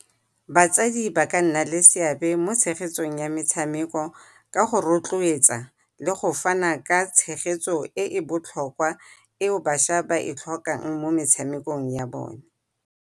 Batsadi ba ka nna ke seabe mo tshegetsong ya metshameko ka go rotloetsa le go fana ka tshegetso e e botlhokwa eo bašwa ba e tlhokang mo metshamekong ya bone.